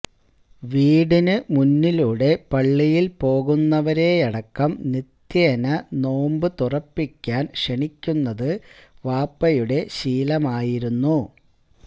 വീടിന്ന് മുന്നിലൂടെ പള്ളിയിൽ പോകുന്നവരെയടക്കം നിത്യേന നോമ്പ് തുറപ്പിക്കാൻ ക്ഷണിക്കുന്നത് വാപ്പയുടെ ശീലമായിരുന്നു